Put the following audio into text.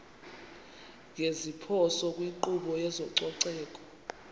ngeziphoso kwinkqubo yezococeko